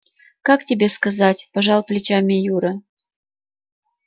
как тебе сказать пожал плечами юра